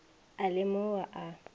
a le mo o a